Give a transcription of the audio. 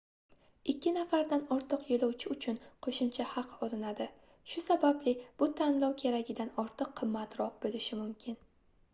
2 nafardan ortiq yoʻlovchi uchun qoʻshimcha haq olinadi shu sababli bu tanlov keragidan ortiq qimmatroq boʻlishi mumkin